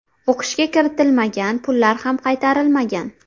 o‘qishga kiritilmagan, pullar ham qaytarilmagan.